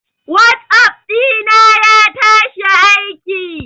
Whatsapp dina ya tashi aiki.